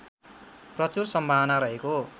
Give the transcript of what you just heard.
प्रचुर सम्भावना रहेको